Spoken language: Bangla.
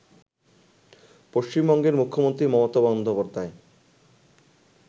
পশ্চিমবঙ্গের মুখ্যমন্ত্রী মমতা বন্দ্যোপাধ্যায়